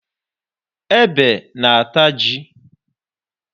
Ebe na-ata ji.